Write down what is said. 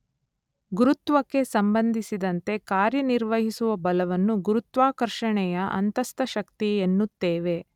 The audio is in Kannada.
ಗುರುತ್ವಕ್ಕೆ ಸಂಬಂಧಿಸಿದಂತೆ ಕಾರ್ಯ ನಿರ್ವಹಿಸುವ ಬಲವನ್ನು ಗುರುತ್ವಾಕರ್ಷಣೆಯ ಅಂತಸ್ಥ ಶಕ್ತಿ ಎನ್ನುತ್ತೇವೆ.